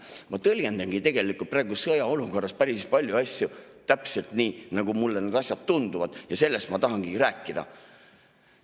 Ma tõlgendan tegelikult praegu sõjaolukorras päris paljusid asju täpselt nii, nagu need mulle tunduvad, ja sellest ma tahangi rääkida.